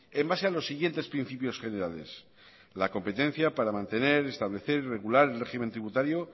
en base a los siguientes principios generales la competencia para mantener establecer y regular el régimen tributario